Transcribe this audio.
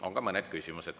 On ka mõned küsimused.